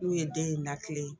N'u ye den in na kile